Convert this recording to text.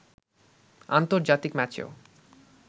আন্তর্জাতিক ম্যাচেও